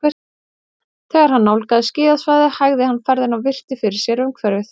Þegar hann nálgaðist skíðasvæðið hægði hann ferðina og virti fyrir sér umhverfið.